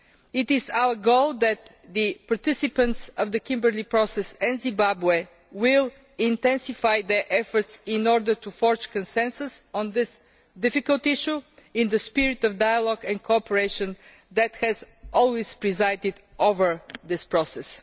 It is our goal that the participants of the Kimberley Process and Zimbabwe will intensify their efforts in order to forge consensus on this difficult issue, in the spirit of dialogue and cooperation that has always presided over this process.